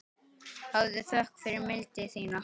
Hafðu þökk fyrir mildi þína.